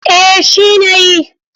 Eh shi na yi.